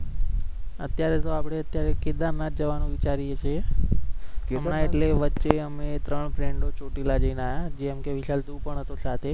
અત્યારે તો આપણે અત્યારે કેદારનાથ જવાનું વિચારી છીએ ના એટલે વચ્ચે અમે ત્રણ friend ચોટીલા જઈ ને આયા જેમકે વિશાલ તુ પણ હતો સાથે